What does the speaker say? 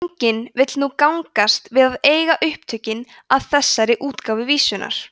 enginn vill nú gangast við að eiga upptökin að þessari útgáfu vísunnar